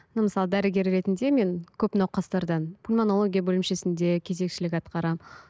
мен мысалы дәрігер ретінде мен көп науқастардан пульмонология бөлімшесінде кезекшілік атқарамын